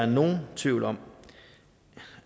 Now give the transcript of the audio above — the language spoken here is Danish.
nogen tvivl om